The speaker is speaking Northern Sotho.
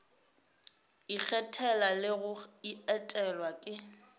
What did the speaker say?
ikgethela le go etelwa ke